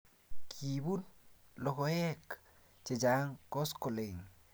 Kiipun logoek chechang' koskoling'